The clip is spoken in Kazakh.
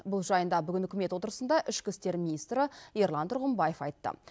бұл жайында бүгін үкімет отырысында ішкі істер министрі ерлан тұрғымбаев айтты